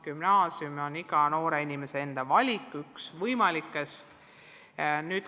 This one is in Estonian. Gümnaasium on iga noore inimese enda valik, üks võimalikest.